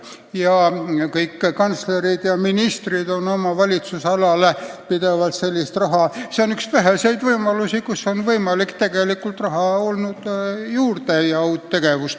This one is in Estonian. Ja kõik kantslerid ja ministrid on aru saanud, et see on üks väheseid võimalusi, kuidas on võimalik oma valitsemisalale raha juurde saada.